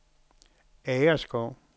Agerskov